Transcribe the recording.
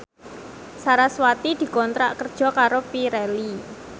sarasvati dikontrak kerja karo Pirelli